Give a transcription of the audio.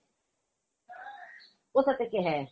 কোথা থেকে হ্যাঁ